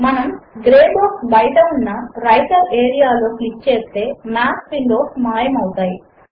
మనము grey box బయట ఉన్న వ్రైటర్ ఏరియాలో క్లిక్ చేస్తే మాత్ విండోస్ మాయము అవుతాయి